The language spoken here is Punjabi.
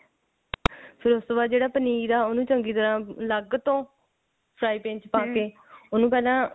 ਫੇਰ ਉਸ ਤੋਂ ਬਾਅਦ ਜਿਹੜਾ ਪਨੀਰ ਹੈ ਉਹਨੂੰ ਚੰਗੀ ਤਰ੍ਹਾਂ ਅੱਲਗ ਤੋਂ trapping ਚ ਪਾਕੇ ਉਹਨੂੰ ਪਹਿਲਾਂ